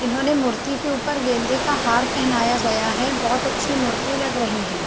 इन्होंने मूर्ति के ऊपर गेंदे का हार पहनायाँ गया हैबहुत अच्छी मूर्ति लग रही है।